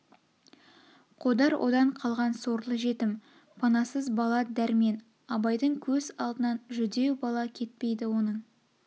қодар одан қалған сорлы жетім панасыз бала дәрмен абайдың көз алдынан жүдеу бала кетпейді оның